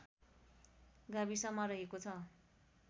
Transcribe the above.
गाविसमा रहेको छ